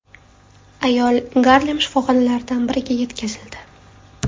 Ayol Garlem shifoxonalaridan biriga yetkazildi.